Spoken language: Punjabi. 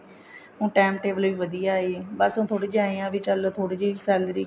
ਹੁਣ time table ਵੀ ਵਧੀਆ ਹੈ ਬਾਕੀ ਥੋੜੀ ਜੀ ਏਨ ਆ ਵੀ ਥੋੜੀ ਜੀ salary